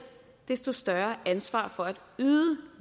desto større ansvar for at yde